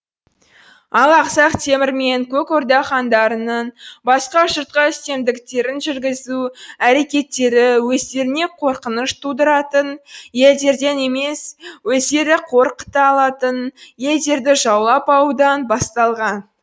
ал ақсақ темір мен көк орда хандарының басқа жұртқа үстемдіктерін жүргізу әрекеттері өздеріне қорқыныш тудыратын елдерден емес өздері қор қыта алатын елдерді жаулап алудан басталған